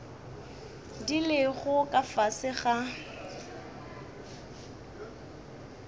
di lego ka fase ga